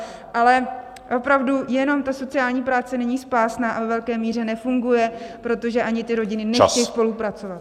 Ale opravdu jenom ta sociální práce není spásná a ve velké míře nefunguje, protože ani ty rodiny nechtějí spolupracovat.